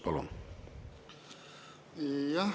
Palun!